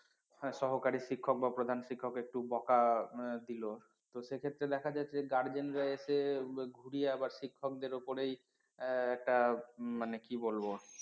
সহকারী শিক্ষক বা প্রধান শিক্ষক একটু বকা দিল তো সে ক্ষেত্রে দেখা যাচ্ছে guardian রা এসে ঘুরিয়ে আবার শিক্ষকদের উপরেই একটা মানে কি বলবো?